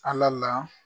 Ala la